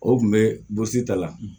O tun bɛ bose ta la